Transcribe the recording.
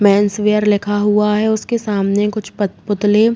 Mains wear लिखा हुआ है। उसके सामने कुछ पत-पुतले --